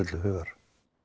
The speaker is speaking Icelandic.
til hugar